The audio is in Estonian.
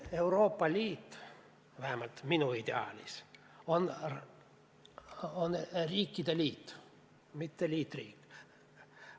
Euroopa Liit, vähemalt minu ideaalis, on riikide liit, mitte liitriik.